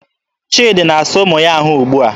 Chidi na-asa ụmụ ya ahụ ugbua.